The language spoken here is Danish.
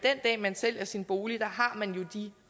sælger sin bolig har man jo de